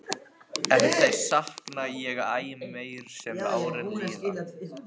En þeirra sakna ég æ meir sem árin líða.